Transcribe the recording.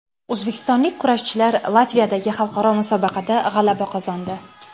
O‘zbekistonlik kurashchilar Latviyadagi xalqaro musobaqada g‘alaba qozondi.